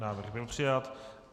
Návrh byl přijat.